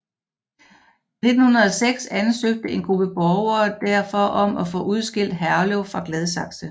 I 1906 ansøgte en gruppe borgere derfor om at få udskilt Herlev fra Gladsaxe